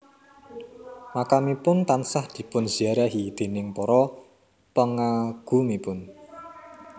Makamipun tansah dipun ziarahi déning para pengagumipun